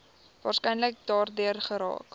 waarskynlik daardeur geraak